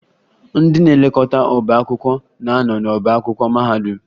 Ndị na-elekọta ọbá akwụkwọ na-anọ n'ọbá akwụkwọ mahadum